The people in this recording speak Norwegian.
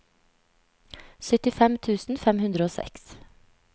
syttifem tusen fem hundre og seks